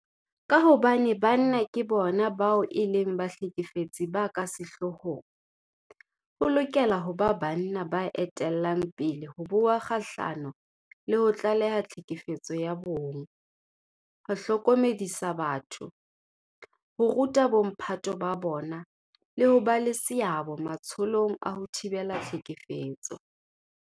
Ka hobane banna ke bona bao e leng bahlekefetsi ba ka sehloohong, ho lokela ho ba banna ba etellang pele ho bua kgahlano le ho tlaleha tlhekefetso ya bong, ho hlokomedisa batho, ho ruta bomphato ba bona le ho ba le seabo matsholong a ho thibela tlhekefetso.